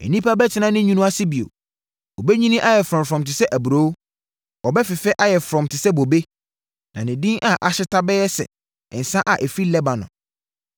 Nnipa bɛtena ne nwunu ase bio. Ɔbɛnyini ayɛ frɔmm te sɛ aburoo. Ɔbɛfefɛ ayɛ frɔmm te sɛ bobe, na ne din a ahyeta bɛyɛ sɛ nsã a ɛfiri Lebanon.